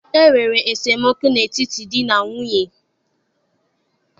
E nwere esemokwu n'etiti di na nwunye.